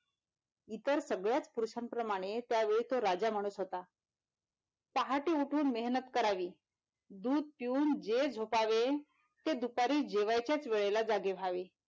इतर सगळ्याच पुरुषाप्रमाणे त्या वेळेस तो राजा माणूस होता पहाटे उठून मेहनत करावी दूध पिऊन जे झोपावे दुपारी जेवायच्याच वेळेला जागे व्हावे.